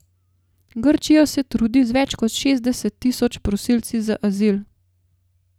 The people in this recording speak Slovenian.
Grčija se trudi z več kot šestdeset tisoč prosilci za azil.